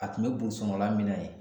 A tun be burusu kɔnɔla min na yen